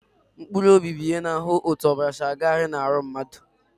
Blood circulation is controlled by the heart